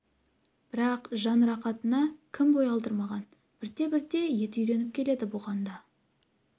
бірақ жан рахатына кім бой алдырмаған бірте-бірте еті үйреніп келеді бұған да